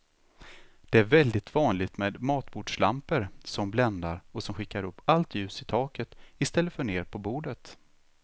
Det är väldigt vanligt med matbordslampor som bländar och som skickar upp allt ljus i taket i stället för ner på bordet.